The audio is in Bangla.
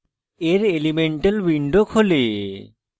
এর elemental window খোলে